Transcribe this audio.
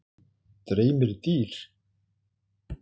Dreymir dýr?